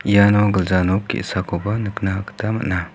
iano gilja nok ge·sakoba nikna gita man·a.